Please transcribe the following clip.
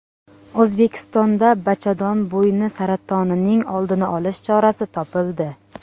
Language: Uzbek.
O‘zbekistonda bachadon bo‘yni saratonining oldini olish chorasi topildi.